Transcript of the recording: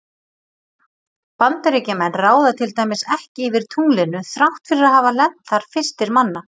Bandaríkjamenn ráða til dæmis ekki yfir tunglinu þrátt fyrir að hafa lent þar fyrstir manna.